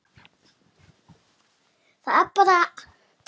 Það er bara.